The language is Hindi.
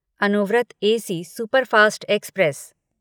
Anuvrat AC superfast express